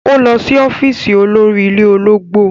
Ó lọ sí ọ́fíìsì olórí ilé ológbò.